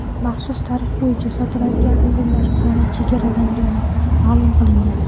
Maxsus tarif bo‘yicha sotiladigan o‘rinlar soni chegaralangani ma’lum qilingan.